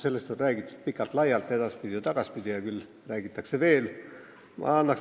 Sellest on räägitud pikalt ja laialt, edaspidi ja tagaspidi ja küll räägitakse veel.